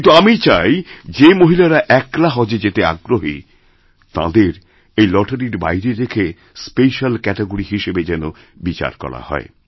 কিন্তু আমি চাই যে মহিলারা একলা হজে যেতে আগ্রহী তাঁদের এই লটারির বাইরে রেখেস্পেশ্যাল ক্যাটেগরি হিসেবে যেন বিচার করা হয়